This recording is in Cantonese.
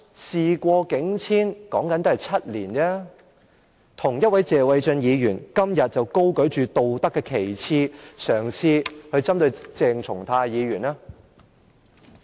事過境遷，說的只是7年，為何同一位謝偉俊議員，今天卻高舉道德旗幟，嘗試針對鄭松泰議員呢？